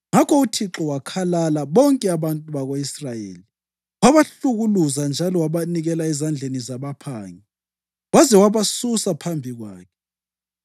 Ngakho uThixo wakhalala bonke abantu bako-Israyeli; wabahlukuluza njalo wabanikela ezandleni zabaphangi, waze wabasusa phambi kwakhe.